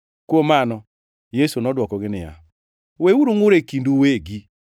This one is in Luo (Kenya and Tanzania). Kuom mano, Yesu nodwokogi niya, “Weuru ngʼur e kindu uwegi.